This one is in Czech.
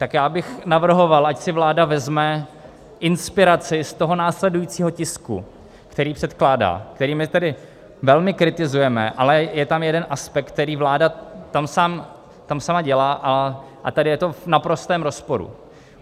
Tak já bych navrhoval, ať si vláda vezme inspiraci z toho následujícího tisku, který předkládá, který my tedy velmi kritizujeme, ale je tam jeden aspekt, který vláda tam sama dělá, a tady je to v naprostém rozporu.